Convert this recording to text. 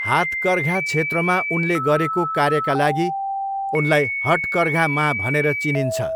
हातकर्घा क्षेत्रमा उनले गरेको कार्यका लागि उनलाई हटकर्घा माँ भनेर चिनिन्छ।